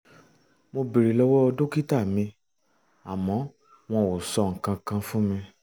mo béèrè lọ́wọ́ dókítà mi um àmọ́ wọn ò sọ nǹkan kan fún mi